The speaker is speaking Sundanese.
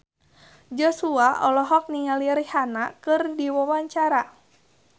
Joshua olohok ningali Rihanna keur diwawancara